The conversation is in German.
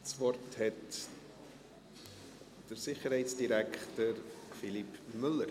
Das Wort hat Sicherheitsdirektor Philippe Müller.